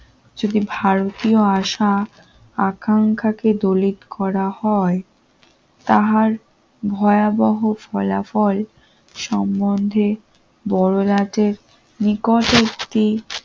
যদি ভারতীয় আশা আকাঙ্ক্ষাকে দলিত করা হয় তাহার ভয়াবহ ফলাফল সম্বন্ধে বড় রাতের নিকটবর্তী